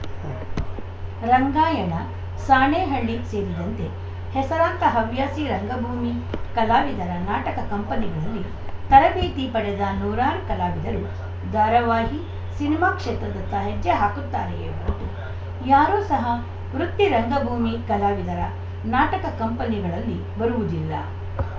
ರಂಗಾಯಣ ಸಾಣೇಹಳ್ಳಿ ಸೇರಿದಂತೆ ಹೆಸರಾಂತ ಹವ್ಯಾಸಿ ರಂಗಭೂಮಿ ಕಲಾವಿದರ ನಾಟಕ ಕಂಪನಿಗಳಲ್ಲಿ ತರಬೇತಿ ಪಡೆದ ನೂರಾರು ಕಲಾವಿದರು ಧಾರಾವಾಹಿ ಸಿನಿಮಾ ಕ್ಷೇತ್ರದತ್ತ ಹೆಜ್ಜೆ ಹಾಕುತ್ತಾರೆಯೇ ಹೊರತು ಯಾರೂ ಸಹ ವೃತ್ತಿ ರಂಗಭೂಮಿ ಕಲಾವಿದರ ನಾಟಕ ಕಂಪನಿಗಳಲ್ಲ ಬರುವುದಿಲ್ಲ